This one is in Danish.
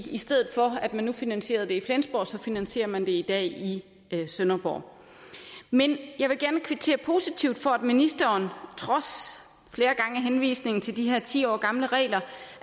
i stedet for at man finansierede det i flensborg finansierer man det i dag i sønderborg men jeg vil gerne kvittere positivt for at ministeren trods henvisningen til de her ti år gamle regler